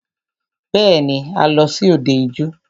Bẹ́ẹ̀ni,a lọ sí òde ijó.